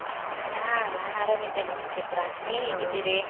ಹಾ ನಾನ್ ಆರಾಮಾಗಿದ್ದೇನೆ ಸುಚಿತ್ರ, ನೀವ್ ಹೇಗಿದ್ದೀರಿ?